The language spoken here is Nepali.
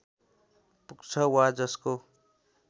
पुग्छ वा जसको